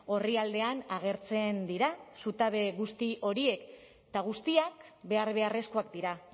orrialdean agertzen dira zutabe guzti horiek eta guztiak behar beharrezkoak dira